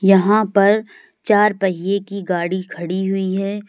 यहां पर चार पहिए की गाड़ी खड़ी हुई है।